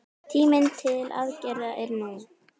Tíminn til aðgerða er nú!